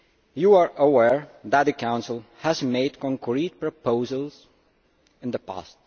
You are aware that the Council has made concrete proposals in the past.